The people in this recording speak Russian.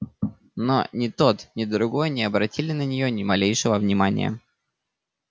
но ни тот ни другой не обратили на неё ни малейшего внимания